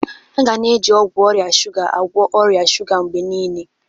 A ga na-eji ọgwụ ọrịa shuga agwọ ọrịa shuga mgbe niile.